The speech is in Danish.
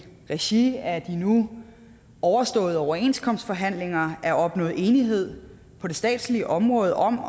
regi af de nu overståede overenskomstforhandlinger er opnået enighed på det statslige område om